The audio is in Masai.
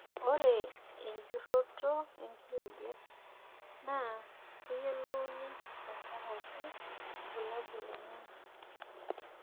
ore ejurunoto enkiyoget naa keyiolouni te nkaraki irbulabol lenyenak.